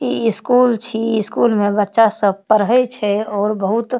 इ स्कूल छी इ स्कूल में बच्चा सब पढ़े छै और बहुत --